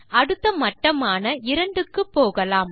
அடுத்த மட்டமான 2 க்கு போகலாம்